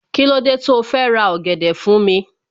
Kílódé tó fẹ́ ra ọ̀gẹ̀dẹ̀ fún mi